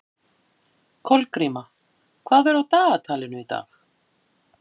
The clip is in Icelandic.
Kolgríma, hvað er á dagatalinu í dag?